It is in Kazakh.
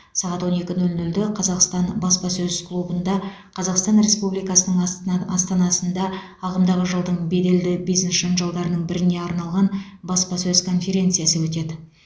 сағат он екі нөл нөлде қазақстан баспасөз клубында қазақстан республикасының астна астанасында ағымдағы жылдың беделді бизнес жанжалдарының біріне арналған баспасөз конференциясы өтеді